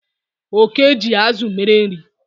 Oke ji azụ mere nri